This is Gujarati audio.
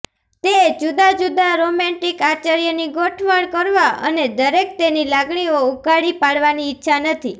તે જુદા જુદા રોમેન્ટિક આશ્ચર્યની ગોઠવણ કરવા અને દરેકને તેની લાગણીઓ ઉઘાડી પાડવાની ઇચ્છા નથી